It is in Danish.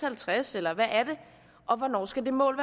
halvtreds eller hvad er det og hvornår skal det mål